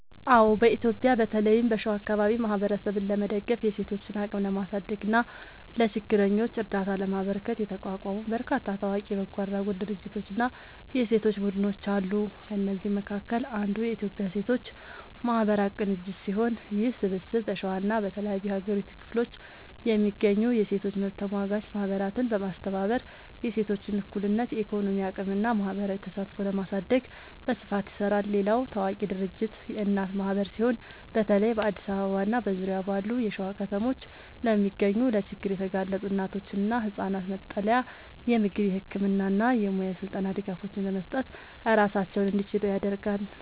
አዎ፣ በኢትዮጵያ በተለይም በሸዋ አካባቢ ማህበረሰብን ለመደገፍ፣ የሴቶችን አቅም ለማሳደግ እና ለችግረኞች እርዳታ ለማበርከት የተቋቋሙ በርካታ ታዋቂ የበጎ አድራጎት ድርጅቶችና የሴቶች ቡድኖች አሉ። ከእነዚህም መካከል አንዱ የኢትዮጵያ ሴቶች ማህበራት ቅንጅት ሲሆን፣ ይህ ስብስብ በሸዋና በተለያዩ የሀገሪቱ ክፍሎች የሚገኙ የሴቶች መብት ተሟጋች ማህበራትን በማስተባበር የሴቶችን እኩልነት፣ የኢኮኖሚ አቅምና ማህበራዊ ተሳትፎ ለማሳደግ በስፋት ይሰራል። ሌላው ታዋቂ ድርጅት የእናት ማህበር ሲሆን፣ በተለይ በአዲስ አበባና በዙሪያዋ ባሉ የሸዋ ከተሞች ለሚገኙ ለችግር የተጋለጡ እናቶችና ህጻናት መጠለያ፣ የምግብ፣ የህክምና እና የሙያ ስልጠና ድጋፎችን በመስጠት ራሳቸውን እንዲችሉ ያደርጋል።